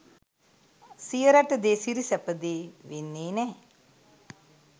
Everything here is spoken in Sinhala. සිය රට දේ සිරි සැප දේ වෙන්නේ නෑ